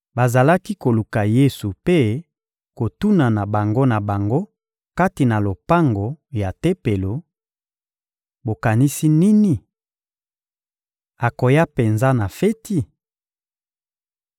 Bazalaki koluka Yesu mpe kotunana bango na bango kati na lopango ya Tempelo: — Bokanisi nini? Akoya penza na feti?